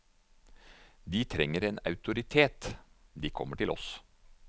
De trenger en autoritet, de kommer til oss.